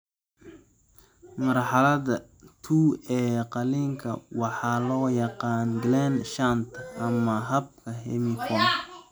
Marxaladda II ee qalliinka waxaa loo yaqaan Glenn shunt ama habka Hemi Fontan.